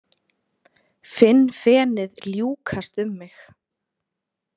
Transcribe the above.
Finn fenið ljúkast um mig.